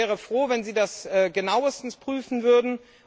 Ich wäre froh, wenn Sie das genauestens prüfen würden.